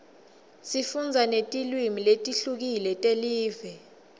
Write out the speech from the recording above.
sifundza netilwimi letihlukile telive